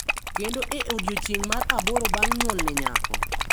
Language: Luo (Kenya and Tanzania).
kendo e odiechieng’ mar aboro bang’ nyuol ne nyako.